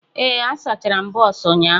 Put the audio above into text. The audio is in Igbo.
Ee, asachara m bọs ụnyahụ.